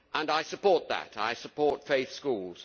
I support that. I support faith schools.